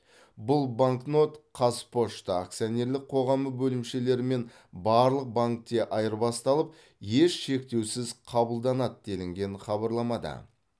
бұл банкнот қазпошта акционерлік қоғамы бөлімшелері мен барлық банкте айырбасталып еш шектеусіз қабылданады делінген хабарламада